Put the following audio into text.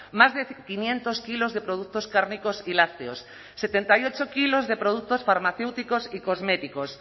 más de quinientos kilos de productos cárnicos y lácteos setenta y ocho kilos de productos farmacéuticos y cosméticos